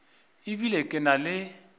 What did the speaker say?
e bile ke na le